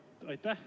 Aitäh!